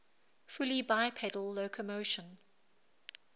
fully bipedal locomotion